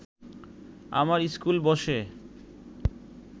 আমার ইস্কুল বসে